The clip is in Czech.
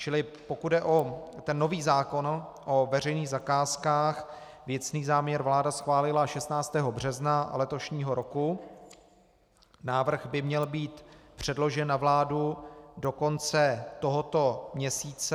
Čili pokud jde o ten nový zákon o veřejných zakázkách, věcný záměr vláda schválila 16. března letošního roku, návrh by měl být předložen na vládu do konce tohoto měsíce.